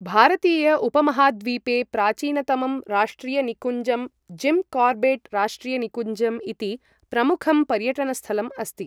भारतीय उपमहाद्वीपे प्राचीनतमं राष्ट्रियनिकुञ्जं जिम् कॉर्बेट् राष्ट्रियनिकुञ्जम् इति प्रमुखं पर्यटनस्थलम् अस्ति।